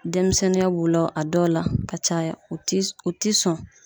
Denmisɛnninya b'u la a dɔw la ka caya u ti u ti sɔn